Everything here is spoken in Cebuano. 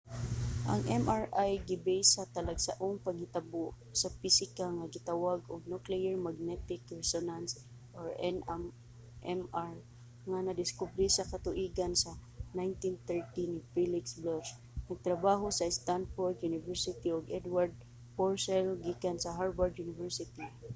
ang mri gibase sa talagsaong panghitabo sa pisika nga gitawag og nuclear magnetic resonance nmr nga nadiskubre sa katuigan sa 1930 ni felix bloch nagtrabaho sa stanford university ug edward purcell gikan sa harvard university